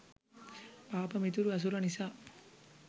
පාප මිතුරු ඇසුර නිසා